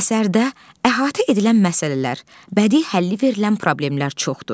Əsərdə əhatə edilən məsələlər, bədii həlli verilən problemlər çoxdur.